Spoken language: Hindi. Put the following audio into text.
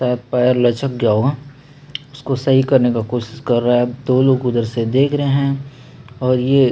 शायद पैर लचक गया होगा उसको सही करने का कोशिश कर रहा है दो लोग उधर से देख रहे हैं और ये--